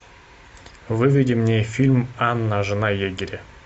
выведи мне фильм анна жена егеря